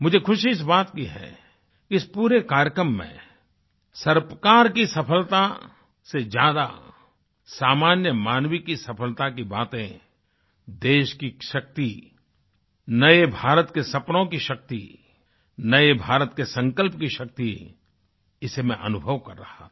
मुझे खुशी इस बात की है इस पूरे कार्यक्रम में सरकार की सफलता से ज़्यादा सामान्य मानवी मानव की सफलता की बातें देश की शक्ति नए भारत के सपनों की शक्ति नए भारत के संकल्प की शक्ति इसे मैं अनुभव कर रहा था